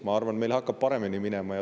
Ma arvan, et meil hakkab paremini minema.